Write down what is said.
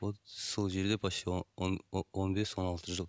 вот сол жерде почти он бес он алты жыл